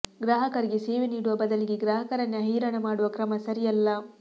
ಗ್ರಾಹಕರಿಗೆ ಸೇವೆ ನೀಡುವ ಬದಲಿಗೆ ಗ್ರಾಹಕರನ್ನೇ ಹೈರಾಣ ಮಾಡುವ ಕ್ರಮ ಸರಿಯಲ್ಲ